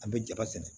An bɛ jaba sɛnɛ